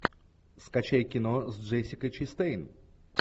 скачай кино с джессикой честейн